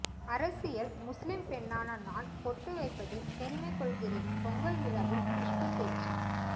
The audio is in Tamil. அரசியல் முஸ்லிம் பெண்ணான நான் பொட்டு வைப்பதில் பெருமை கொள்கிறேன் பொங்கல் விழாவில் குஷ்பு பேச்சு